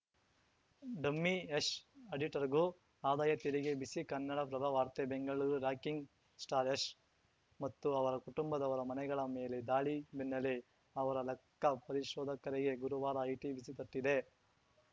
dummy Yash ಆಡಿಟರ್‌ಗೂ ಆದಾಯ ತೆರಿಗೆ ಬಿಸಿ ಕನ್ನಡಪ್ರಭ ವಾರ್ತೆ ಬೆಂಗಳೂರು ರಾಕಿಂಗ್‌ ಸ್ಟಾರ್‌ ಯಶ್‌ ಮತ್ತು ಅವರ ಕುಟುಂಬದವರ ಮನೆಗಳ ಮೇಲೆ ದಾಳಿ ಬೆನ್ನೆಲೆ ಅವರ ಲೆಕ್ಕಪರಿಶೋಧಕರಿಗೆ ಗುರುವಾರ ಐಟಿ ಬಿಸಿ ತಟ್ಟಿದೆ